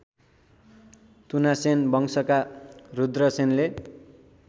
तुथासेन वंशका रुद्रसेनले